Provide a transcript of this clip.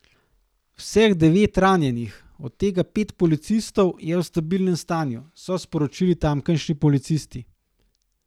Vseh devet ranjenih, od tega pet policistov, je v stabilnem stanju, so sporočili tamkajšnji policisti.